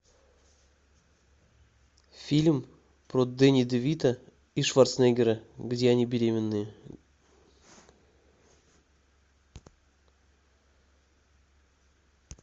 фильм про дэнни де вито и шварценеггера где они беременные